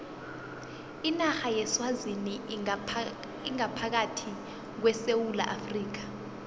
inarha yeswazini ingaphakathi kwesewula afrika